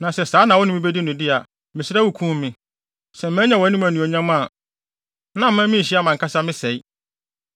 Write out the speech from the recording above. Na sɛ saa na wo ne me bedi no de a, mesrɛ, kum me, sɛ manya wʼanim anuonyam a, na mma minnhyia mʼankasa me sɛe.”